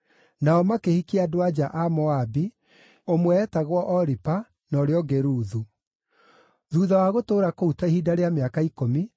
Nao makĩhikia andũ-a-nja a Moabi, ũmwe eetagwo Oripa, na ũrĩa ũngĩ Ruthu. Thuutha wa gũtũũra kũu ta ihinda rĩa mĩaka ikũmi,